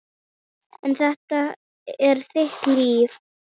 En þetta er þitt líf.